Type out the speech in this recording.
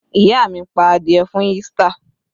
Ìyá mi pa adìẹ fún Easter.